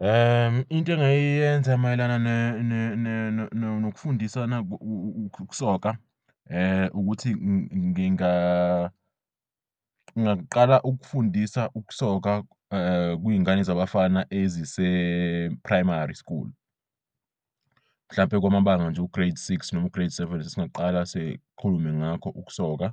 Into engayenza mayelana nokufundisana ukusoka ukuthi ngingaqala ukufundisa ukusoka kwingane zabafana ezise-primary school mhlampe kwamabanga nje u-grade six nomu-grade seven. Singaqala sikhulume ngakho ukusoka,